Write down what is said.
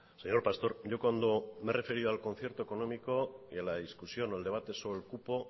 señor pastor yo cuando me he referido al concierto económico y a la discusión o el debate sobre el cupo